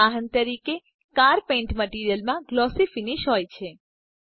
ઉદાહરણ તરીકે car paint મટીરીઅલમાં ગ્લોસી ફીનીશ હોય છે